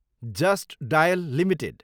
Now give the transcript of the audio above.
just Dial Ltd